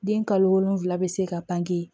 Den kalo wolonfila bɛ se ka pan